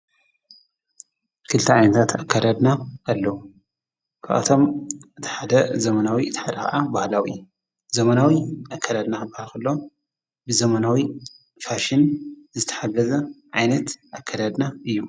ክልቲ ዓይንታት ኣከደድና ኣለዉ ክኣቶም እታሓደ ዘመናዊ ተኃለቓዓ በሃላዊ ዘመናዊ ኣከደድና በሃኽሎ ብዘመናዊ ፋሽን ዝተሓገዘ ዓይነት ኣከደድና እዮም::